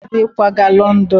Emeka na-akwado ịkwaga London.